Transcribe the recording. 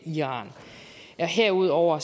iran herudover